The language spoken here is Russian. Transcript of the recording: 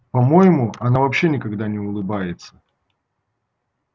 по моему она вообще никогда не улыбается